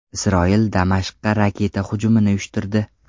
Isroil Damashqqa raketa hujumini uyushtirdi.